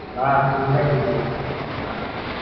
না গুজরাট জিতবে।